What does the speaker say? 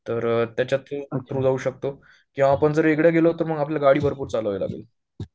तर त्याच्या थ्रू जाऊ शकतो किंवा आपण जर वेगळं गेलो तर मग आपल्याला गाडी भरपूर चलवावी लागेल